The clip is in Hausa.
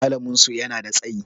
Malamin su yana da tsayi